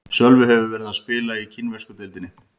Sölvi hefur verið að spila í kínversku deildinni.